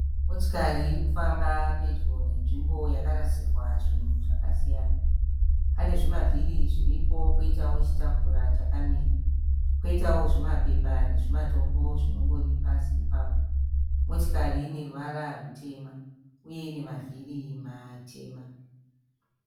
Motikari irikufamba pedyo nenzvimbo yakarasirwa zvinhu zvakasiyana. Pane zvimavhiri zviripo poitawo chitafura chakamira . Koitawo zvimapepa nezimatombo zvinongori pasi ipapo. Motikari iyi ine ruvara rutema uye ine mavhiri matema.